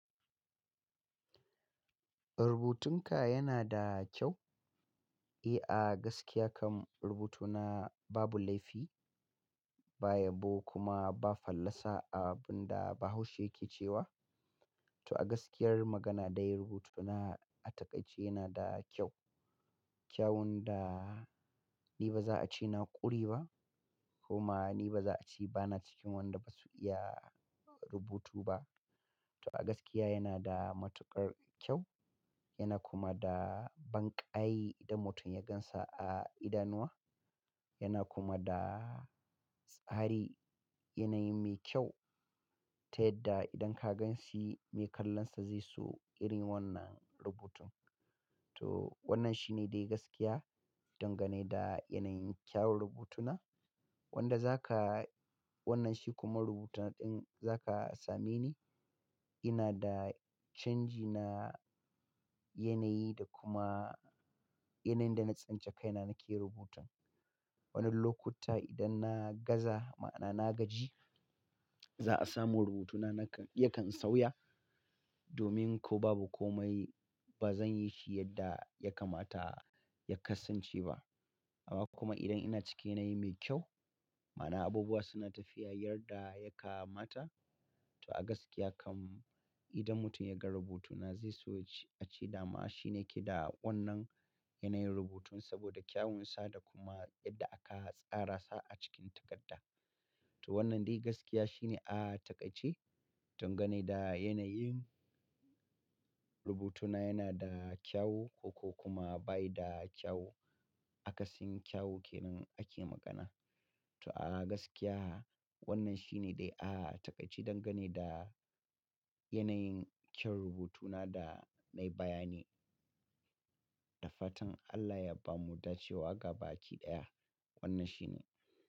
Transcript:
Rubutunka yana da kyau. Eh, a gaskiya kam rubutuna babu laifi, ba yabo kuma ba fallasa a abun da bahaushe yake cewa. To a gaskiyar magana dai rubutuna a taƙaice yana da kyau. Kyawun da ni ba za a ce na ƙure ba kuma ni ba za a ce ba na cikin wanda basu iya rubutu ba. To a gaskiya yana da matuƙar kyau, yana kuma da banƙayi idan mutum ya gansa a idanuwa, yana kuma da tsari, yanayi mai kyau, ta yadda idan ka gan shi, mai kallonsa zai so irin wannan rubutun. To wannan shi ne dai gaskiya dangane da yanayin kyawun rubutuna. Wanda zaka, wannan shi kuma rubutun ɗin zaka same ni, ina da canji na yanayi da kuma yanayin da na tsinci kaina nake yin rubuta. Wani lokuta idan na gaza ma'ana na gaji, za a samu rubutuna nakan, yakan sauya. Domin ko babu komai ba zan yi shi yadda ya kamata ya kasance ba. Amma kuma idan ina cikin yanayi mai kyau, ma'ana abubuwa suna tafiya yadda ya kamata. To a gaskiya kam idan mutum ya ga rubutuna zai so ya ce, a ce dama shi ne ke da wannan yanayin rubutun saboda kyawunsa da kuma yadda aka tsara sa a cikin takarda. To wannan dai gaskiya shi ne a taƙaice, dangane da yanayin rubutuna yana da kyau ko, ko kuma bai da kyau. Akasin kyau kenan ake magana. To a gaskiya wannan shi ne dai a taƙaice dangane da yanayin kyan rubutuna da na yi bayani. Da fatan Allah ya bamu dace wa gaba ki ɗaya. Wannan shi ne.